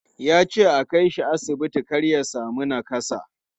Ya ce a kai shi asibiti kar ya sami nakassa.